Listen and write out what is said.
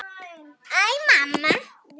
Æ, mamma!